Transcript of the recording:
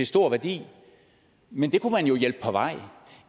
stor værdi men det kunne man jo hjælpe på vej